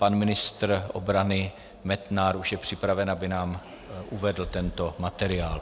Pan ministr obrany Metnar už je připraven, aby nám uvedl tento materiál.